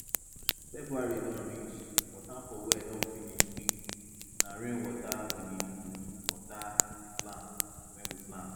february don reach water for well don finish quickna rain water we dey use water the plants wey we plant